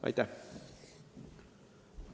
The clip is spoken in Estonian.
Aitäh!